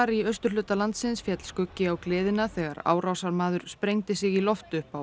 í austurhluta landsins féll skuggi á gleðina þegar árásarmaður sprengdi sig í loft upp á